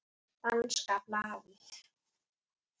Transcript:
Danska blaðið